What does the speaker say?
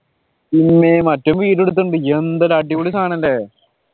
പിന്നെ മറ്റോൻ video എടുത്തിട്ടുണ്ട് എന്തൊരു അടിപൊളി സാധനം അല്ലെ